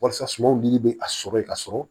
Walasa sumanw nili bɛ a sɔrɔ yen ka sɔrɔ